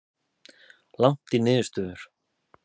Langt í niðurstöður